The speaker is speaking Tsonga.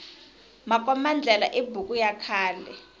makomba ndlela i buku ya khale